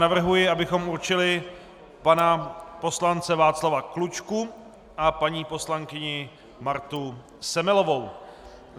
Navrhuji, abychom určili pana poslance Václava Klučku a paní poslankyni Martu Semelovou.